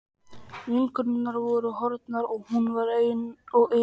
Vinkonurnar voru horfnar og hún var ein og yfirgefin.